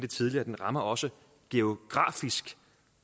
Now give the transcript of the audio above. tidligere den rammer også geografisk